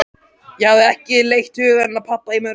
Ég hafði ekki leitt hugann að pabba í mörg ár.